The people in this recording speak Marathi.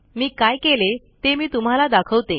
मी काय केले ते मी तुम्हाला दाखवते